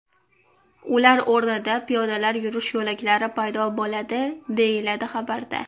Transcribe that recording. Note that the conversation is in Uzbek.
Ular o‘rnida piyodalar yurish yo‘laklari paydo bo‘ladi”, deyiladi xabarda.